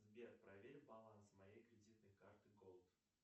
сбер проверь баланс моей кредитной карты голд